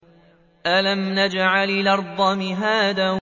أَلَمْ نَجْعَلِ الْأَرْضَ مِهَادًا